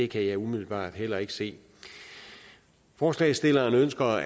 kan jeg umiddelbart heller ikke se forslagsstillerne ønsker